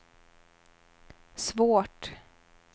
svårt